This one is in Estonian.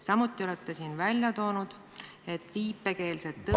Samuti olete siin välja toonud, et viipekeelset tõlget ...